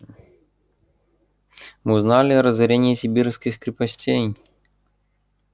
мы узнали о разорении сибирских крепостей